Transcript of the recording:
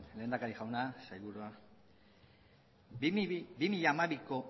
lehendakari jauna sailburua bi mila hamabiko